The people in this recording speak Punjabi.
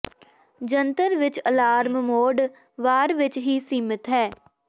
ਜੰਤਰ ਵਿੱਚ ਅਲਾਰਮ ਮੋਡ ਵਾਰ ਵਿੱਚ ਹੀ ਸੀਮਿਤ ਹੈ